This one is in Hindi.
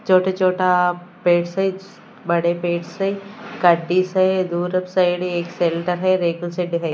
छोटे छोटा पैट्स है बड़े पैट्स है है दूर साइड एक दिखाई--